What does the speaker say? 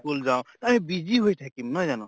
কুল যাওঁ আমি busy হৈ থাকিম নহয় জানো?